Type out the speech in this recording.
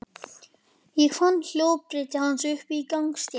Ég fann hjólabrettið hans uppi á gangstétt.